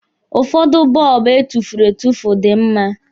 Ụfọdụ bọlbụ etufuru etufu dị mma.